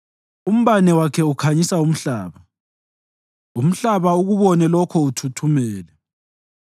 Umbane wakhe ukhanyisa umhlaba; umhlaba ukubone lokho uthuthumele.